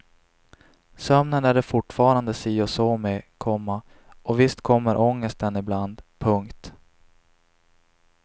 Sömnen är det fortfarande si och så med, komma och visst kommer ångesten ibland. punkt